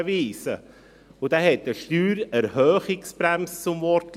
Dieser hat eine Steuererhöhungsbremse zum Wortlaut.